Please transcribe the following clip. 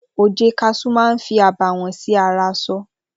oje kasú ma ń fí abawon sí ara aṣọ